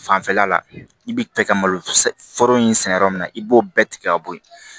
Fanfɛla la i bɛ fɛ ka malo foro in sɛnɛ yɔrɔ min na i b'o bɛɛ tigɛ ka bɔ yen